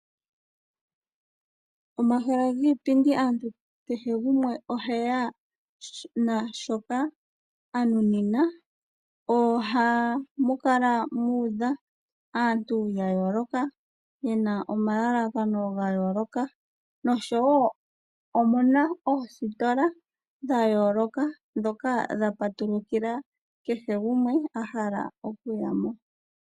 Omahala giipindi aantu kehe gumwe oheya naashoka a nunina. Ohamu kala muudha aantu ya yooloka ye na omalalakano ga yooloka, oshowo omuna oositola dha yooloka ndhoka dha patulukila kehe gumwe a hala okuya mo.